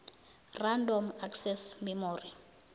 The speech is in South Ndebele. random access memory